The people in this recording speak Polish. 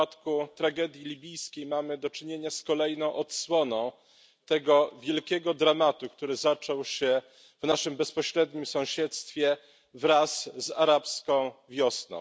W przypadku tragedii libijskiej mamy do czynienia z kolejną odsłoną tego wielkiego dramatu, który zaczął się w naszym bezpośrednim sąsiedztwie wraz z Arabską Wiosną.